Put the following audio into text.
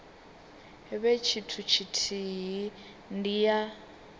vhe tshithu tshithihi ndi ya